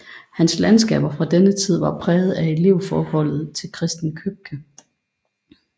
Hans landskaber fra denne tid var præget af elevforholdet til Christen Købke